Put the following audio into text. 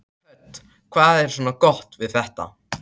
Hödd: Hvað er svona gott við þetta?